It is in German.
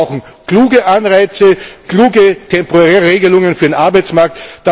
Wir brauchen kluge Anreize, kluge temporäre Regelungen für den Arbeitsmarkt.